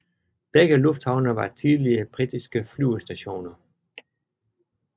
Begge lufthavne var tidligere britiske flyvestationer